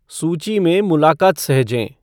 सूची में मुलाक़ात सहेजें